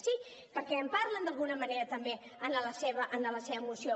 sí perquè en parlen d’alguna manera també en la seva moció